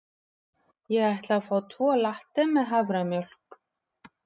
Ég ætla að fá tvo latte með haframjólk.